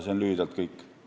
See on lühidalt kõik.